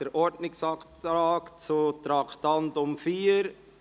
Wir kommen zuerst zu jenem zu Traktandum 4;